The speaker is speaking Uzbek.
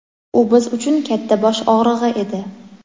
U biz uchun katta bosh og‘rig‘i edi.